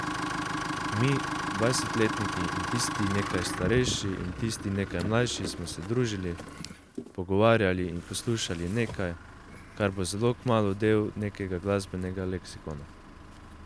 Mi, dvajsetletniki in tisti nekaj starejši in tisti nekaj mlajši smo se družili, pogovarjali in poslušali nekaj, kar bo zelo kmalu del nekega glasbenega leksikona.